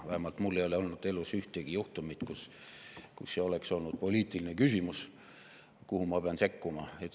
Vähemalt mul ei ole olnud elus ühtegi juhtumit, kus see oleks olnud poliitiline küsimus, kuhu ma pean sekkuma.